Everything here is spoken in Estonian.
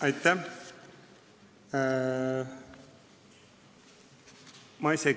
Aitäh!